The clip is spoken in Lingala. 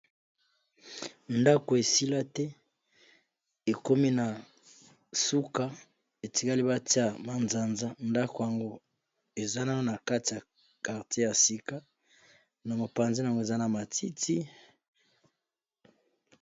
Ndako esila te, ekomi na suka etikali batia manzanza, ndako yango eza na na kati ya quartier ya sika, na mopanzina yango eza na matiti.